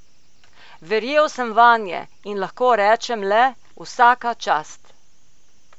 Verjel sem vanje in lahko rečem le: 'vsaka čast'.